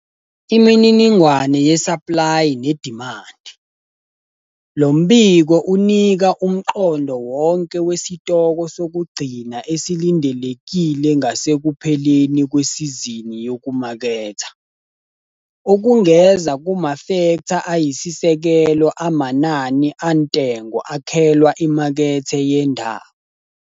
Imininingwane yesaplayi nedimandi- Lo mbiko unika umqondo wonke wesitoko sokugcina esilindelekile ngasekupheleni kwesizini yokumaketha, okungeza kumafektha ayisisekelo amanani antengo akhelwa imakethe yendawo.